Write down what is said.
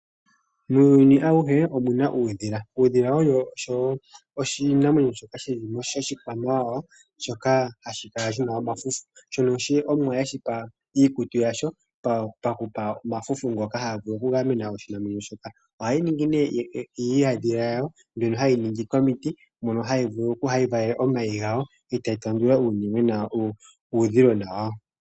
Muuyuni auhe omu na uudhila. Uudhila owo oshinamwenyo shoka oshikwamawawa, shoka hashi kala shi na omafufu, shono Omuwa e shipa iikutu yasho paku shi pa omafufu ngono haga vulu okugamena oshinamwenyo shoka. Ohayi ningi nduno iihandhila yawo mbyono haye yi ningi komiti mono hayi valele omayi gawo e tayi tendula uudhilona wayo.